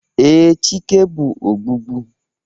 Ee, Chike bụ ogbugbu